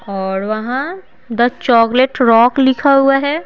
और वहां the chocolate rock लिखा हुआ है।